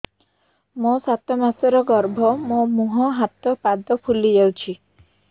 ମୋ ସାତ ମାସର ଗର୍ଭ ମୋ ମୁହଁ ହାତ ପାଦ ଫୁଲି ଯାଉଛି